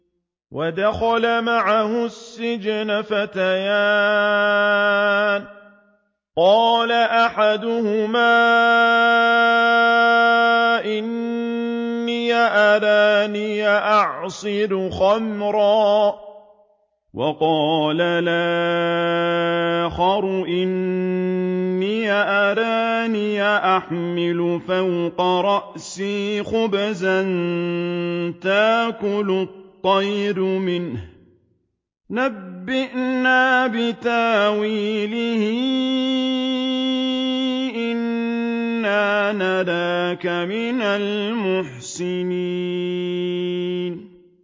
وَدَخَلَ مَعَهُ السِّجْنَ فَتَيَانِ ۖ قَالَ أَحَدُهُمَا إِنِّي أَرَانِي أَعْصِرُ خَمْرًا ۖ وَقَالَ الْآخَرُ إِنِّي أَرَانِي أَحْمِلُ فَوْقَ رَأْسِي خُبْزًا تَأْكُلُ الطَّيْرُ مِنْهُ ۖ نَبِّئْنَا بِتَأْوِيلِهِ ۖ إِنَّا نَرَاكَ مِنَ الْمُحْسِنِينَ